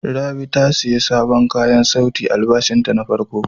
Rabi ta sayi sabon kayan sauti da albashin ta na farko.